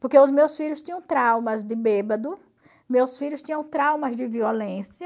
Porque os meus filhos tinham traumas de bêbado, meus filhos tinham traumas de violência,